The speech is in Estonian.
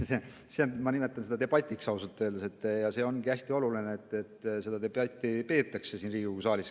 Ma ausalt öeldes nimetan seda debatiks ja see ongi hästi oluline, et seda debatti peetakse siin Riigikogu saalis.